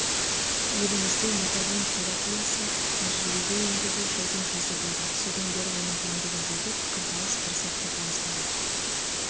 елімізде метадон терапиясы тәжірибеге енгелі жылдың жүзі болды содан бері оның төңірегіндегі пікірталас бір сәтке толастаған